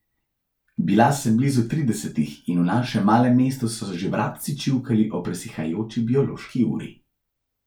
Bila sem blizu tridesetih in v našem malem mestu so že vrabci čivkali o presihajoči biološki uri.